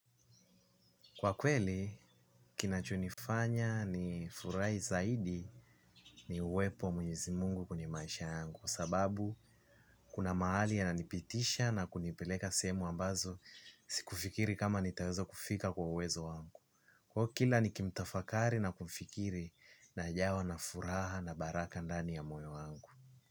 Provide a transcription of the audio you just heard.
Kwa kweli, kinachonifanya nifurahi zaidi ni uwepo wa Mwenyezi Mungu kwenye maisha yangu. Sababu, kuna mahali ananipitisha na kunipeleka sehemu ambazo sikufikiri kama nitawezo kufika kwa uwezo wangu kwa kila, nikimtafakari na kufikiri najawa na furaha na baraka ndani ya moyo wangu.